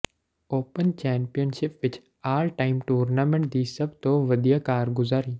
open championship ਵਿਚ all time tournament ਦੀ ਸਭ ਤੋਂ ਵਧੀਆ ਕਾਰਗੁਜ਼ਾਰੀ